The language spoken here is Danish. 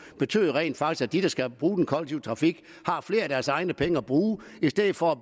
betyder jo rent faktisk at de der skal bruge den kollektive trafik har flere af deres egne penge at bruge i stedet for